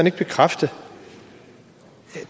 ikke bekræfte